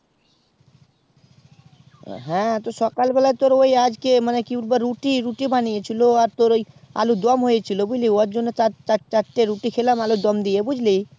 তো হ্যাঁ সকালবেলাই আজকে মানে রুটি বানিয়েছিল ও আর আলুর দম হয়েছিল চার চার চার টা রুটি খেলাম আলুর দম দিয়ে বুঝলি